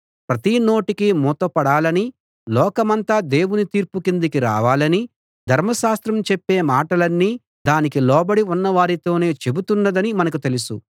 ప్రతి నోటికీ మూతపడాలనీ లోకమంతా దేవుని తీర్పు కిందికి రావాలనీ ధర్మశాస్త్రం చెప్పే మాటలన్నీ దానికి లోబడి ఉన్నవారితోనే చెబుతున్నదని మనకు తెలుసు